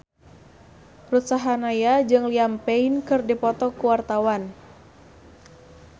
Ruth Sahanaya jeung Liam Payne keur dipoto ku wartawan